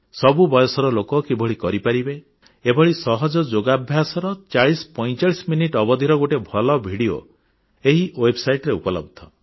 ସବୁ ବୟସର ଲୋକ କିଭଳି କରିପାରିବେ ଏଭଳି ସହଜ ଯୋଗାଭ୍ୟାସର 4045 ମିନିଟ ଅବଧିର ଗୋଟିଏ ଭଲ ଭିଡ଼ିଓ ଏହି ୱେବସାଇଟରେ ଉପଲବ୍ଧ